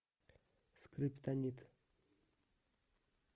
скриптонит